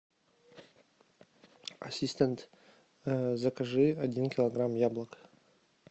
ассистент закажи один килограмм яблок